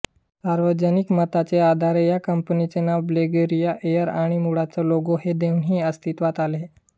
सार्वजनिक मताचे आधारे या कंपनीचे नाव बल्गेरिया एयर आणि मुळचा लोगो हे दोन्ही अस्तीत्वात आले